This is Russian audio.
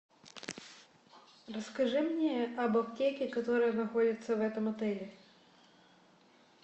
расскажи мне об аптеке которая находится в этом отеле